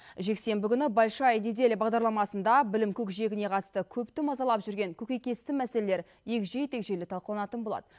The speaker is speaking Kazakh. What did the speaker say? жексенбі күні большая неделя бағдарламасында білім көкжиегіне қатысты көпті мазалап жүрген көкейкесті мәселелер егжей тегжейлі талқыланатын болады